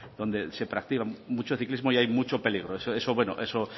donde practica mucho ciclismo y hay mucho peligro eso